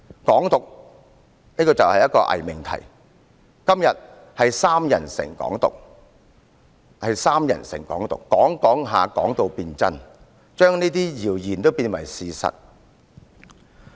"港獨"是一個偽命題，今天是"三人成'港獨'"，人們不斷地談論，謠言便變成事實。